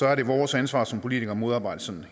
er det vores ansvar som politikere at modarbejde sådan